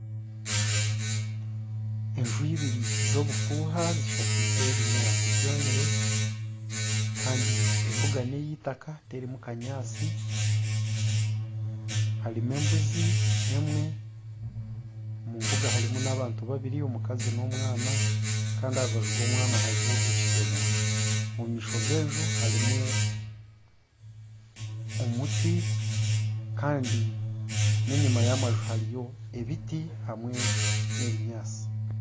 Enju ibiri z'obufuuha zishakaize obunyaatsi bwomire, kandi embuga ni eitaka terimu kanyaatsi. Harimu embuzi emwe. Omu mbuga harimu abakazi babiri omukazi n'omwana kandi aha rubaju rw'omwana hariho ekidomora. Omu maisho g'enju harimu omuti, kandi n'enyima y'amaju hariyo ebiti hamwe n'ebinyaatsi.